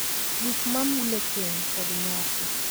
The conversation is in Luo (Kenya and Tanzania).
Gik ma mulo keny kod nyasi.